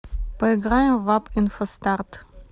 поиграем в апп инфостарт